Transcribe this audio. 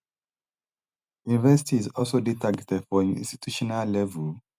universities also dey targeted for institutional level